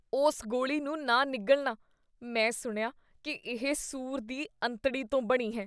ਉਸ ਗੋਲੀ ਨੂੰ ਨਾ ਨਿਗਲਨਾ । ਮੈਂ ਸੁਣਿਆ ਕੀ ਇਹ ਸੂਰ ਦੀ ਅੰਤੜੀ ਤੋਂ ਬਣੀ ਹੈ।